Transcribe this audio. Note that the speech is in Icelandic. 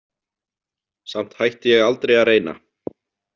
Samt hætti ég aldrei að reyna.